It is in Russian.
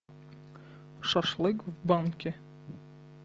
шашлык в банке